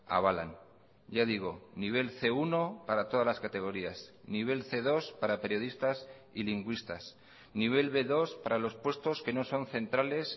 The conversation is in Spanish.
avalan ya digo nivel ce uno para todas las categorías nivel ce dos para periodistas y lingüistas nivel be dos para los puestos que no son centrales